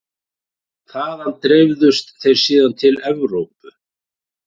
Þaðan dreifðust þeir síðan til Evrópu.